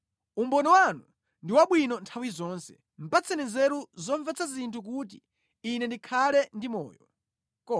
Umboni wanu ndi wabwino nthawi zonse; patseni nzeru zomvetsa zinthu kuti ine ndikhale ndi moyo.